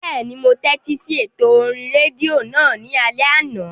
Bẹ́ẹ̀ni, mo tẹ́tí sí ètò orí rédíò náà ní alẹ́ àná